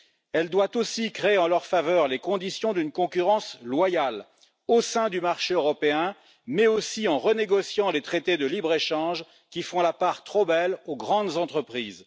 Elle doit aussi créer en leur faveur les conditions d'une concurrence loyale au sein du marché européen, mais également renégocier les traités de libre échange qui font la part trop belle aux grandes entreprises.